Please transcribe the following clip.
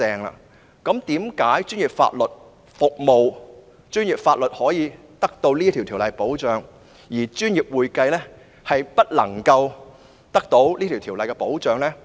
為何專業法律獲《法律執業者條例》保障，但專業會計卻未獲《專業會計師條例》保障？